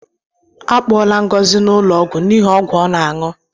A kpọgala Ngozi n'ụlọ ọgwụ n'ihi ọgwụ ọ na-aṅụ